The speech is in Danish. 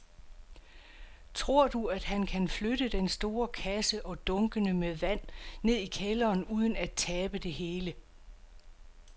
Tror du, at han kan flytte den store kasse og dunkene med vand ned i kælderen uden at tabe det hele?